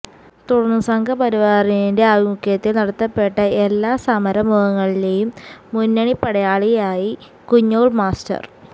തുടര്ന്ന് സംഘപരിവാറിന്റെ ആഭിമുഖ്യത്തില് നടത്തപ്പെട്ട എല്ലാ സമരമുഖങ്ങളിലെയും മുന്നണിപ്പടയാളിയായി കുഞ്ഞോല് മാസ്റ്റര്